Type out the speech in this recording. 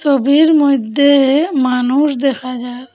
ছবির মইধ্যে মানুষ দেখা যার ।